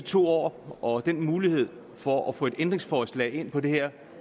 to år og muligheden for at få et ændringsforslag ind på det her